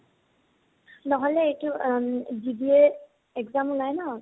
নহলে এইটো অম BBA exam উলায় ন